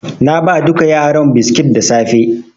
Na ba duka yaran biskit da safe.